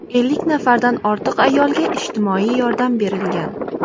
Ellik nafardan ortiq ayolga ijtimoiy yordam berilgan.